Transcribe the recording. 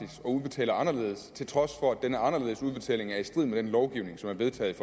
og udbetaler anderledes til trods for at denne anderledes udbetaling er i strid med den lovgivning som er vedtaget